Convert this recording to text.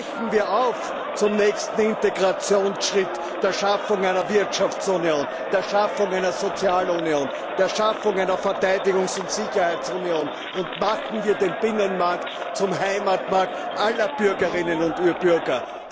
Brechen wir auf zum nächsten Integrationsschritt, der Schaffung einer Wirtschaftsunion, der Schaffung einer Sozialunion, der Schaffung einer Verteidigungs und Sicherheitsunion, und machen wir den Binnenmarkt zum Heimatmarkt aller Bürgerinnen und Bürger.